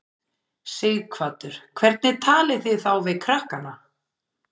Sighvatur: Hvernig talið þið þá við krakkana?